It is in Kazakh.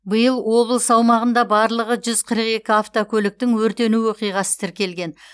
биыл облыс аумағында барлығы жүз қырық екі автокөліктің өртену оқиғасы тіркелген